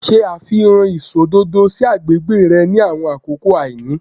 Ṣe àfihàn iṣọ òdodo si agbègbè rẹ ni àwọn àkókò àìní